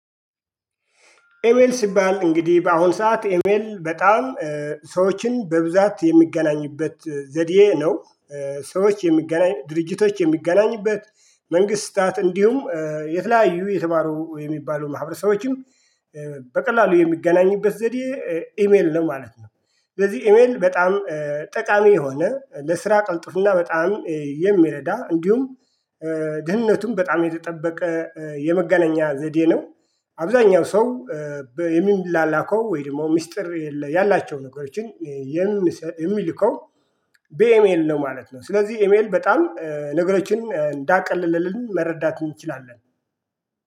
ኢሚል ሲባል እንግዲህ በአሁን ሰዓት ኢሜል በጣም ሰዎችን በብዛት የሚገናኝበት ዘዴ ነው። ሰዎች የሚገናኝ ድርጅቶች የሚገናኝበት መንግስታት እንዲሁም የተለያዩ የተባሉ የሚባሉ ማህበረሰቦችም በቀላሉ የሚገናኝበት ዘዴ ኢሜል ነው ማለት ነው። ስለዚህ ኢሜል በጣም ጠቃሚ የሆነ ለስራ ቀልጥፍና በጣም የሚረዳ እንዲሁም ደህንነቱን በጣም የተጠበቀ የመገናኛ ዘዴ ነው። አብዛኛው ሰው የሚላላከው ወይም ደግሞ ሚስጥር ያላቸው ነገሮችን የሚልከው ቢኢሜል ነው ማለት ነው። ስለዚህ ኢሜል በጣም ነገሮችን እንዳቀለለልን መረዳት እንችላለን